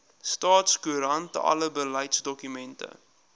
staatskoerant alle beleidsdokumente